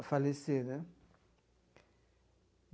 a falecer, né?